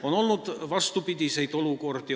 On olnud vastupidiseid olukordi.